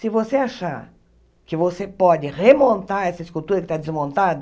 Se você achar que você pode remontar essa escultura que está desmontada,